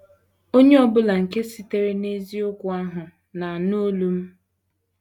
Onye ọ bụla nke sitere n’eziokwu ahụ na - anụ olu m. ”